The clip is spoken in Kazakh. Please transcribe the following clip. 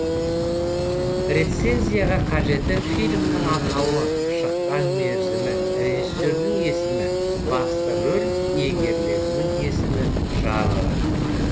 рецензияға қажеті фильмнің атауы шыққан мерзімі режиссердің есімі басты рөл иегерлерінің есімі жанры